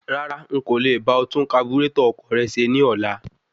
Rárá,n kò le bá ọ tún kaburétọ̀ ọkọ̀ rẹ ṣe ní ọlá.